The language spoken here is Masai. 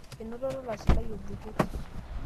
enoto olalashe lai olbuket